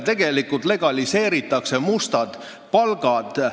Tegelikult legaliseeritakse mustad palgad.